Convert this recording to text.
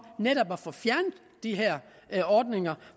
netop at få fjernet de her ordninger